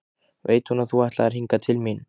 Veit hún að þú ætlaðir hingað til mín?